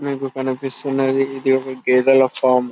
మీకు కనిపిస్తున్నది ఇదొక గేదెల ఫామ్ .